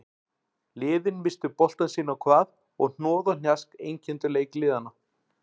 Liðin misstu boltann sitt á hvað og hnoð og hnjask einkenndu leik liðanna.